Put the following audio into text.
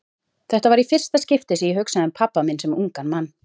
Þetta var í fyrsta skipti sem ég hugsaði um pabba minn sem ungan mann.